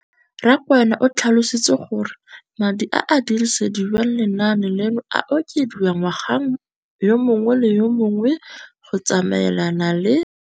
Rakwena o tlhalositse gore madi a a dirisediwang lenaane leno a okediwa ngwaga yo mongwe le yo mongwe go tsamaelana le